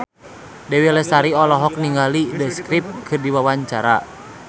Dewi Lestari olohok ningali The Script keur diwawancara